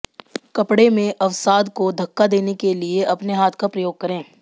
कपड़े में अवसाद को धक्का देने के लिए अपने हाथ का प्रयोग करें